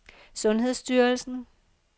sundhedsstyrelsen